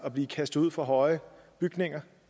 at blive kastet ud fra høje bygninger